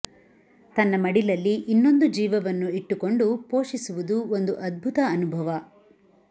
ತನ್ನ ಮಡಿಲಲ್ಲಿ ಇನ್ನೊಂದು ಜೀವವನ್ನು ಇಟ್ಟುಕ್ಕೊಂಡು ಪೋಷಿಸುವುದು ಒಂದು ಅದ್ಭುತ ಅನುಭವ